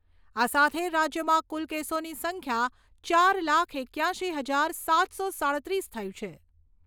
આ સાથે રાજ્યમાં કુલ કેસોની સંખ્યા ચાર લાખ એક્યાશી હજાર સાતસો સાડત્રીસ થઈ છે.